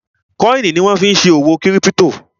kọ́ìnì ni wọ́n fí n ṣe òwò kírípítò